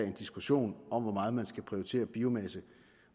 en diskussion om hvor meget man skal prioritere biomasse